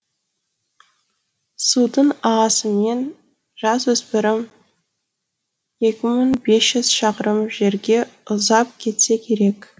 судың ағысымен жасөспірім екі мың бес жүз шақырым жерге ұзап кетсе керек